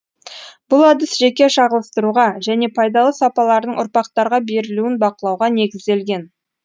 бұл әдіс жеке шағылыстыруға және пайдалы сапалардың ұрпақтарға берілуін бакылауға негізделген